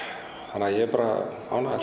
þannig að ég er bara ánægður